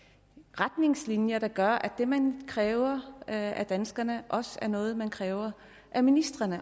retningslinjer der gør at det man kræver af danskerne også er noget man kræver af ministrene